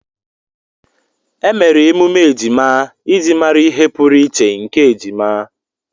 Emere emume ejima iji mara ihe pụrụiche nke ejima.